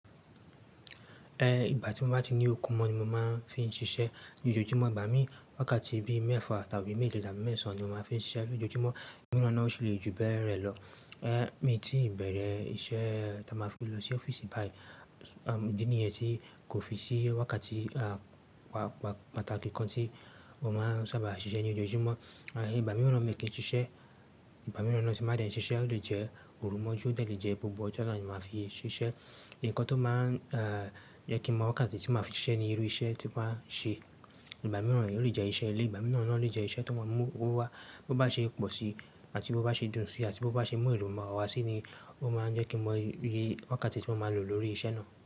Ẹ ìgbà tí mo bá ti ní òkún mọ ni mo máa ń fi ń ṣiṣẹ́. Lójojúmọ́ ìgbà mí wákàtí bíi mẹ́fà tàbi tabi mẹ́je tàbí mẹ́sàn án ni mo máa ń fi ń ṣiṣẹ́. Lójojúmọ́, nigba miran náa ó lè ju bẹ́ẹ̀ rẹ lọ. Ẹ mi ti ìbẹ̀rẹ̀ iṣẹ́ tí a máa fi lọ sí ọ́fíìsì báyìí, idí nìyẹn tí kò fi sí wákàtí pàtàkì kan tí mo máa ń sábà ṣiṣẹ́ ní ojojúmọ́. Àṣá, ìgbà mìíràn mi kì í ṣiṣẹ́, ìgbà mìíràn naa ó ti máa de ṣiṣẹ́, ó lè jẹ́ òru mọ́jú, ó de lè jẹ́ gbogbo ọjọ́ náà ni mo máa fi ṣiṣẹ́. Ǹkan tó máa ń jẹ́ kí mọ̀ wákáàtì tí màá fi ṣiṣẹ́ ni irú iṣẹ́ tí mo ba ń ṣe. Ìgbà mìíràn oo le je iṣẹ́ ilé, ìgbà mìíràn naa o lè jẹ́ iṣẹ́ tó máa mú owó wá. Bo bá ṣe pọ̀ sí àti bó bá ṣe dùn sí àti bó bá ṣe mú èrò mó ọwọ́ wá sí ni ó máa ń jẹ́ kí mo iye wákàtí tí mo máa lò lórí iṣẹ́ náà.